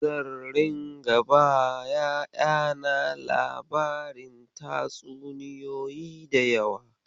Zan ringa bawa ƴaƴana labarin tatsuniyoyi da yawa.